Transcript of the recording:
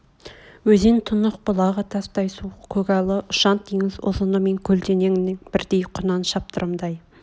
өзен тұнық бұлағы тастай суық көгалы ұшан-теңіз ұзыны мен көлденең бірдей құнан шаптырымдай